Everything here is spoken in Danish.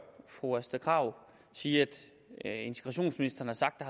fru astrid krag sige at integrationsministeren har sagt at